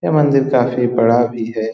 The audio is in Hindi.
ये मंदिर काफी बड़ा भी है।